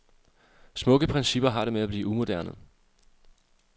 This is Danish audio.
Smukke principper har det med at blive umoderne.